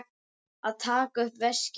Að taka upp veskið.